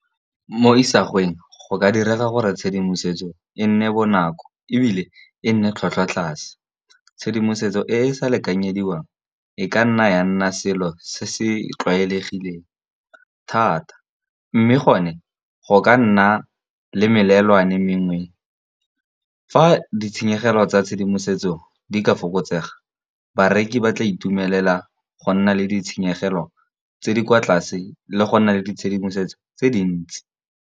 Mo isagweng go ka direga gore tshedimosetso e nne bonako, ebile e nne tlhwatlhwa tlase. Tshedimosetso e e sa lekanyediwang e ka nna ya nna selo se se tlwaelegileng thata, mme gone go ka nna le melelwane mengwe fa ditshenyegelo tsa tshedimosetso di ka fokotsega. Bareki ba tla itumelela go nna le ditshenyegelo tse di kwa tlase, le go nna le ditshedimosetso tse dintsi.